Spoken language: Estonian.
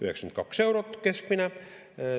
92 eurot keskmine.